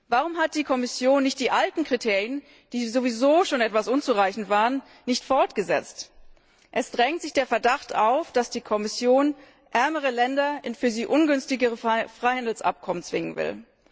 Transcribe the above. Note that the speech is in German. Warum hat die Kommission die alten Kriterien, die sowieso schon unzureichend waren, nicht beibehalten? Es drängt sich der Verdacht auf, dass die Kommission ärmere Länder in für sie ungünstigere Freihandelsabkommen zwingen will.